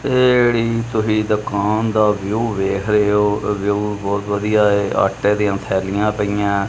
ਇਹ ਜਿਹੜੀ ਤੁਸੀਂ ਦੁਕਾਨ ਦਾ ਵਿਊ ਵੇਖ ਰਹੇ ਹੋ ਵਿਊ ਬਹੁਤ ਵਧੀਆ ਆਟੇ ਦੀਆਂ ਥੈਲੀਆਂ ਪਈਆਂ ਐ।